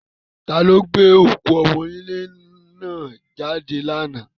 Ta ni ó gbé òkú ọmọ́ńlé náà jáde lánàá?